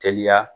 Teliya